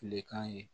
Tilekan ye